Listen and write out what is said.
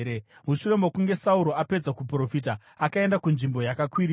Mushure mokunge Sauro apedza kuprofita, akaenda kunzvimbo yakakwirira.